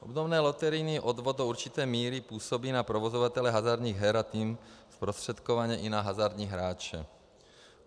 Obdobně loterijní odvod do určité míry působí na provozovatele hazardních her, a tím zprostředkovaně i na hazardní hráče.